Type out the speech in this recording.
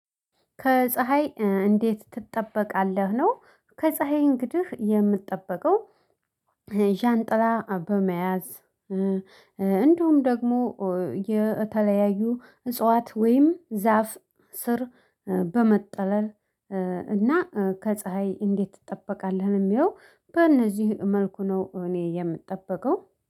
ከፀሀይ እንዴት ትጠበቃለህ? ነው ከፀሀይ እንግዲህ የምትጠበቀው? ዣንጥላ በመያዝ። እንዲሁም ደግሞ የተለያዩ እጽዋት ወይም ዛፍ ስር በመጠለል። እና ከፀሀይ እንዴት ትጠበቃለህ ለሚለው በእነዚህ መልኩ ነው እኔ የምጠበቀው